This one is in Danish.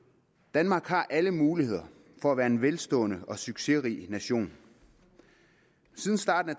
danmark har alle muligheder for at være en velstående og succesrig nation siden starten af